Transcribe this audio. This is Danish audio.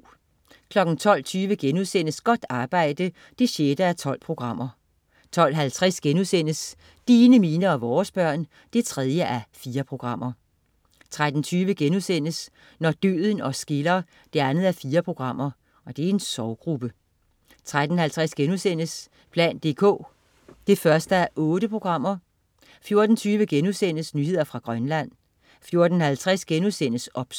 12.20 Godt arbejde 6:12* 12.50 Dine, mine og vores børn 3:4* 13.20 Når døden os skiller 2:4.* En sorggruppe 13.50 plan dk 1:8* 14.20 Nyheder fra Grønland* 14.50 OBS*